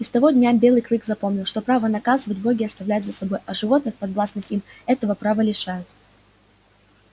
и с того дня белый клык запомнил что право наказывать боги оставляют за собой а животных подвластных им этого права лишают